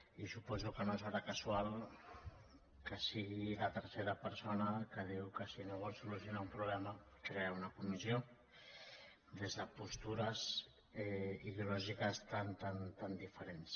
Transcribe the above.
i suposo que no serà casual que sigui la tercera persona que diu que si no vols solucionar un problema crea una comissió des de postures ideològiques tan tan diferents